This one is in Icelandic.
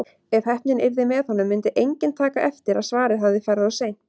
Ef heppnin yrði með honum myndi enginn taka eftir að svarið hafði farið of seint.